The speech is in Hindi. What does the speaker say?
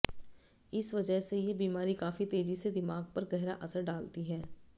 इस वजह से ये बीमारी काफ़ी तेजी से दिमाग पर गहरा असर डालती है